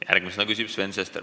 Järgmisena küsib Sven Sester.